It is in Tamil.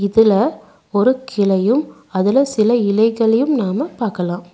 இதுல ஒரு கிளையும் அதுல சில இலைகளையும் நாம பாக்கலா.